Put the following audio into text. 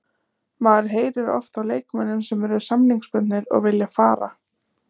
Maður heyrir oft af leikmönnum sem eru samningsbundnir og vilja fara.